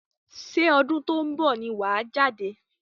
Ṣé ọdún tó ń bọ̀ ni wàá jáde?